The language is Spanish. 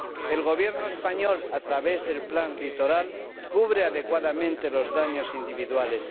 El Gobierno español, a través del plan litoral, cubre adecuadamente los daños individuales.